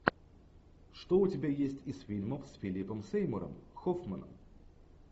что у тебя есть из фильмов с филиппом сеймуром хоффманом